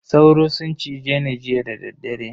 Sauro sun cize ni jiya dadaddare.